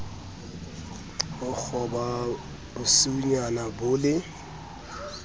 ho qhoba bosiunyana bo le